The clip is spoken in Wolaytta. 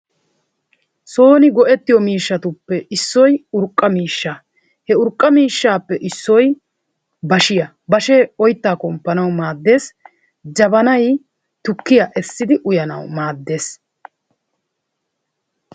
Sooni go'ettiyo miishshatuppe issoy urqqa miishshaa, he urqqa miishshaappe issoy bashiyaa bashee oyttaa komppanawu maaddees. Jabanaay tukkiya essidi uyyanayo maaddees.